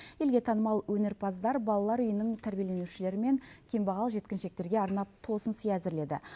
елге танымал өнерпаздар балалар үйінің тәрбиеленушілері мен кембағал жеткіншектерге арнап тосынсый әзірледі